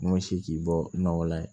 N'o si ti bɔ nɔgɔ la ye